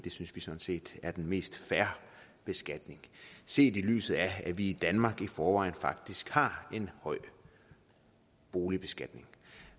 synes vi sådan set er den mest fair beskatning set i lyset af at vi i danmark i forvejen faktisk har en høj boligbeskatning